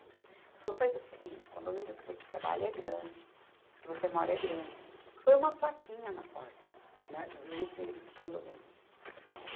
Ela falou, faz o seguinte, o condomínio que você trabalha é grande, que você mora é grande, põe uma plaquinha na porta, na, nos vidros do condomínio.